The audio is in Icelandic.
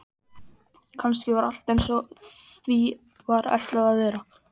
Kannski var allt einsog því var ætlað að vera.